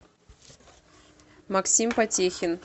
максим потехин